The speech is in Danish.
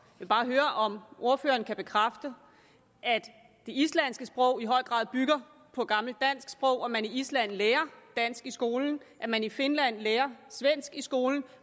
vil bare høre om ordføreren kan bekræfte at det islandske sprog i høj grad bygger på det gamle danske sprog at man i island lærer dansk i skolen at man i finland lærer svensk i skolen